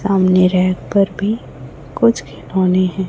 सामने रहकर भी कुछ खिलौने हैं।